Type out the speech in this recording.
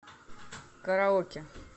караоке